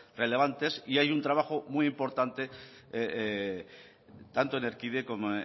relevantes y hay un trabajo muy importante tanto en erkide